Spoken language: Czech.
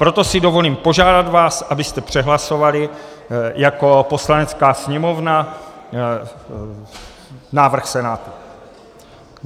Proto si dovolím požádat vás, abyste přehlasovali jako Poslanecká sněmovna návrh Senátu.